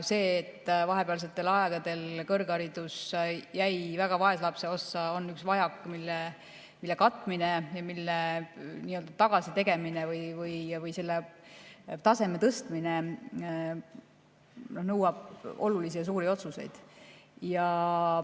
See, et vahepealsetel aegadel kõrgharidus jäi väga vaeslapse ossa, on vajak, mille katmine ja mille nii-öelda tagasitegemine või kus taseme tõstmine nõuab olulisi ja suuri otsuseid.